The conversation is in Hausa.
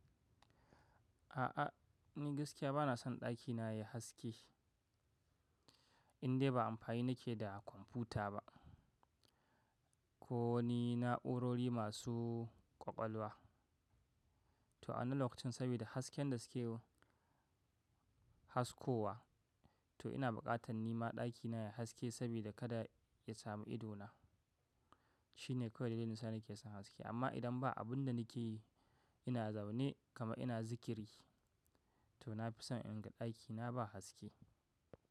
A'a, ni gaskiya ba na son ɗakina yayi haske indai ba amfani nake da kwamfuta ba ko wani na'urori masu ƙwaƙwalwa. To a wannan lokacin saboda hasken da suke haskowa. To ina buƙatan nima ɗakina ya haske saboda kada ya samu ido na. Shine kawai dalilin sa nake son haske. Amma idan ba abun da nake yi, ina zaune kama ina zikiri to na fi son in ga ɗakina ba haske.